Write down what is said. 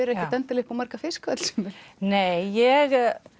er ekkert endilega upp á marga fiska öll sömul nei ég